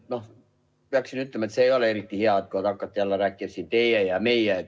Ma peaksin ütlema, et ei ole eriti hea, kui hakata siin jälle rääkima, et teie ja meie.